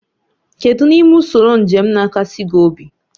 Kedu n'ime usoro njem na-akasi gị obi?